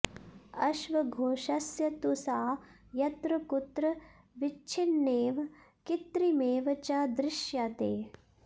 अश्वघोषस्य तु सा यत्र कुत्र विच्छिन्नेव कृत्रिमेव च दृश्यते